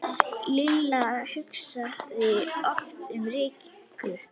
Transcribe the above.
Lilla hugsaði oft um Rikku.